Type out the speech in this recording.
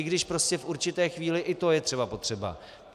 I když prostě v určité chvíli i to je třeba potřeba.